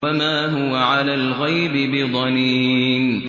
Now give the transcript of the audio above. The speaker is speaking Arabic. وَمَا هُوَ عَلَى الْغَيْبِ بِضَنِينٍ